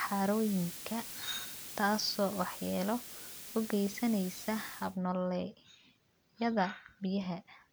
harooyinka, taasoo waxyeello u geysaneysa hab-nololeedyada biyaha.